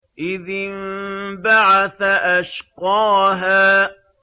إِذِ انبَعَثَ أَشْقَاهَا